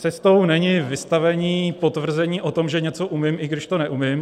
Cestou není vystavení potvrzení o tom, že něco umím, i když to neumím.